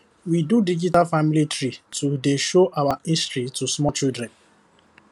we do digital family tree to dey show our history to small children